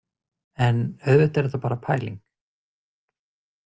En auðvitað er þetta bara pæling.